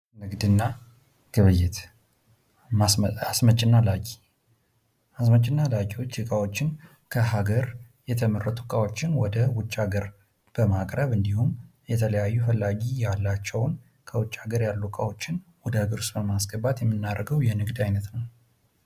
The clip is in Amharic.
ንግድና ግብይይት፤ አስመጭና ላኪ፦ አስመጭና ላኪወች እቃወችን ከሃገር የተመረቱ እቃወችን ወደ ውጭ ሃገር በማቅረብ እንዲሁም የተለያዩ ፈላጊ ያላቸውን ከውጭ ሃገር ያሉ እቃወችን ወደ ሃገር ውስጥ በማስገባት የምናደርገው የንግድ አይነት ነው።